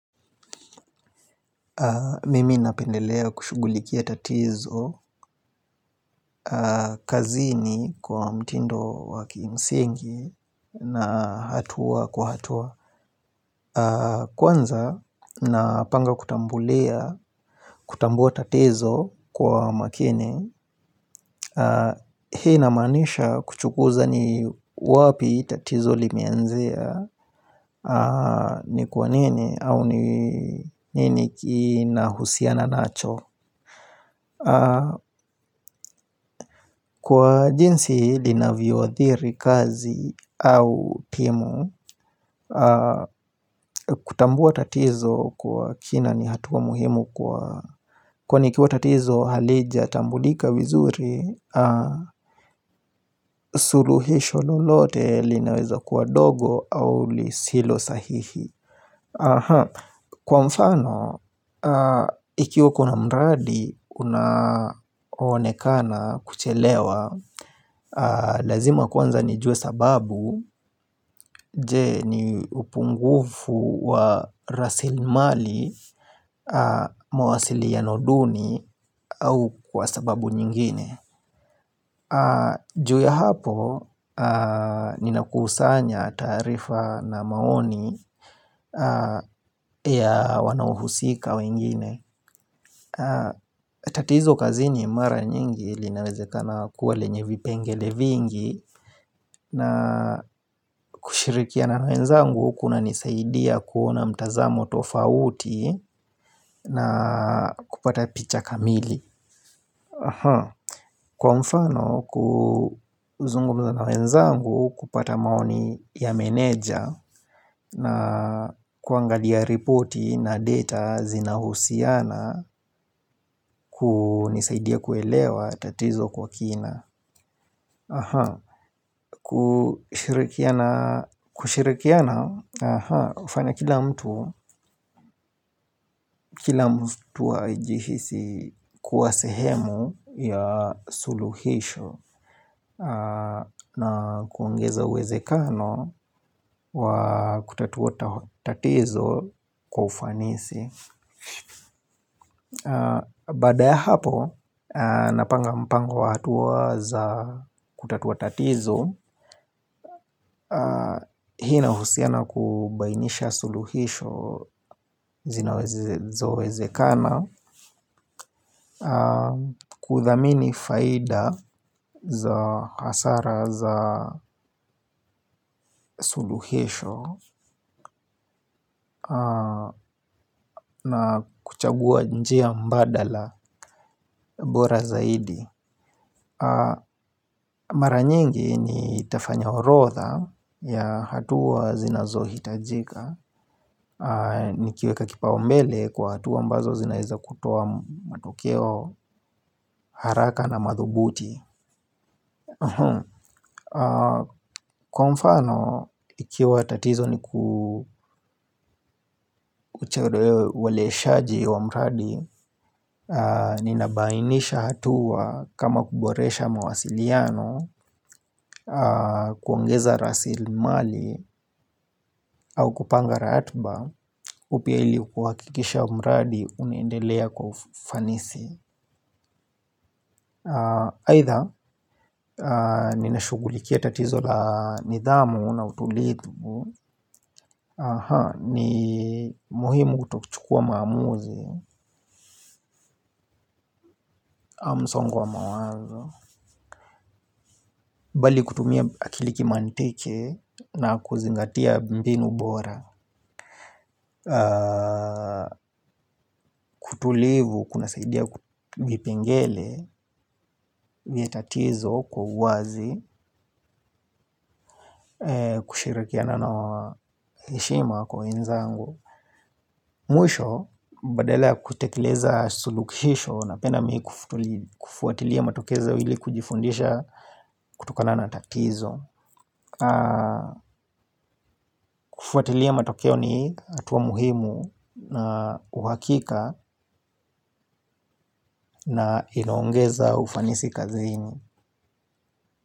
Mimi napendelea kushughulikia tatizo kazini kwa mtindo wa kimsingi na hatua kwa hatua. Kwanza napanga kutambua tatizo kwa makini. Hii inamaanisha kuchunguza ni wapi tatizo limeanzia. Ni kwa nini au ni nini kinahusiana nacho. Kwa jinsi linavyoathiri kazi au timu. Kutambua tatizo kwa kina ni hatua muhimu kwani ikiwa tatizo halijatambulika vizuri. Suluhisho lolote linaweza kuwa dogo au lisilo sahihi. Kwa mfano, ikiwa kuna mradi unaonekana kuchelewa. Lazima kwanza nijue sababu. Je, ni upungufu wa rasilimali? Mawasiliano duni au kwa sababu nyingine. Juu hapo, ninakusanya taarifa na maoni. Ya wanaohusika wengine. Tatizo kazini mara nyingi linawezekana kuwa lenye vipengele vingi, na kushirikiana na wenzangu kunanisaidia kuona mtazamo tofauti. Na kupata picha kamili. Kwa mfano, kuzungumza na wenzangu, kupata maoni ya meneja. Na kuangalia ripoti na data zinahusiana kunanisaidia kuelewa tatizo kwa kina. Kushirikiana, kushirikiana hufanya kila mtu kila mtu ajihisi kuwa sehemu ya suluhisho na kuongeza uwezekano wa kutatua tatizo kwa ufanisi baada ya hapo. Napanga mpango wa hatua za kutatua tatizi. Hii inahusiana kubainisha suluhisho zinazowezekana kuthamini faida za hasara za suluhisho na kuchagua njia mbadala, bora zaidi. Mara nyingi nitafanya orotha ya hatua zinazohitajika. Nikiweka kipaumbele kwa hatua ambazo zinaweza kutoa matokeo haraka na madhubuti. Kwa mfano, ikiwa tatizo ni Shaji wa mradi ninabainisha hatua kama kuboresha mawasiliano, kuongeza rasilimali au kupanga ratiba, ili kuhakikisha mradi unaendelea kwa ufanisi. Aidha, ninashughulikia tatizo, na nidhamu na utulivu ni muhimu kutochukua maamuzi. Hakuna msongo wa mawazo, bali kutumia akili ya kimantiki na kuzingatia mbinu bora. Utulivu unasaidia kuona vipengele vya tatizo kwa wazi. Kushirikiana na heshima kwa wenzangu. Mwisho, badala ya kutekeleza suluhisho, napenda kufuatilia matokeo ili kujifundisha kutokana na tatizo. Kufuatilia matokeo ni hatua muhimu na uhakika na inaongeza ufanisi kazini.